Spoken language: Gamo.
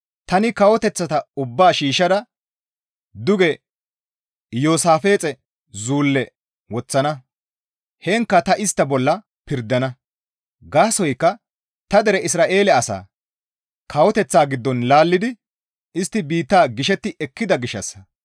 Tani kawoteththata ubbaa shiishshada duge Iyoosaafixe zulle woththana; heenkka ta istta bolla pirdana; gaasoykka ta dere Isra7eele asaa kawoteththata giddon laallidi istti biitta gishetti ekkida gishshassa.